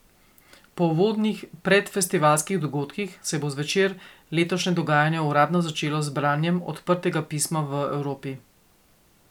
Po uvodnih predfestivalskih dogodkih se bo zvečer letošnje dogajanje uradno začelo z branjem Odprtega pisma v Evropi.